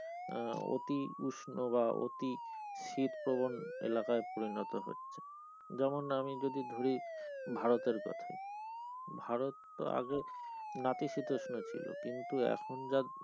আহ অতি উষ্ণ বা অতি শীত পবন এলাকায় পরিণত হচ্ছে, যেমন আমি যদি ধরি ভারতের কথাই ভারত তো আগে নাতিশীতোষ্ণ ছিল কিন্তু এখন যা,